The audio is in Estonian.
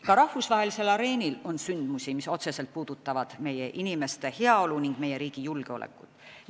Ka rahvusvahelisel areenil on sündmusi, mis otseselt puudutavad meie inimeste heaolu ning riigi julgeolekut.